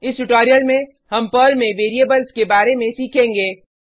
इस ट्यूटोरियल में हम पर्ल में वेरिएबल्स के बारे में सीखेंगे